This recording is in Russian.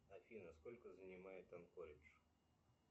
афина сколько занимает анкоридж